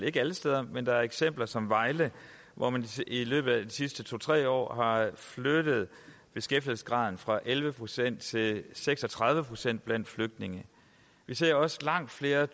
ikke alle steder men der er et eksempel som vejle hvor man i løbet af de sidste to tre år har flyttet beskæftigelsesgraden fra elleve procent til seks og tredive procent blandt flygtninge vi ser også langt flere